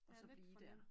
Og så blive dér